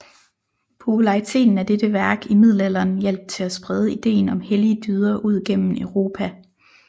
Populariteten af dette værk i middelalderen hjalp til at sprede ideen om hellige dyder ud gennem Europa